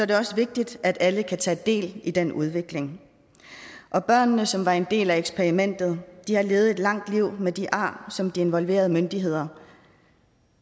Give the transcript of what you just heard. det også vigtigt at alle kan tage del i den udvikling børnene som var en del af eksperimentet har levet et langt liv med de ar som de involverede myndigheder